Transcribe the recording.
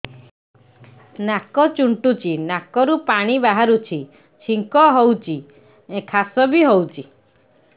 ନାକ ଚୁଣ୍ଟୁଚି ନାକରୁ ପାଣି ବହୁଛି ଛିଙ୍କ ହଉଚି ଖାସ ବି ହଉଚି